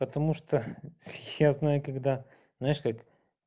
потому что я знаю когда знаешь как